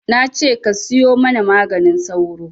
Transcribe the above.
Nace ka siyo mana maganin sauro